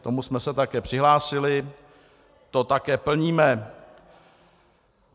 K tomu jsme se také přihlásili, to také plníme.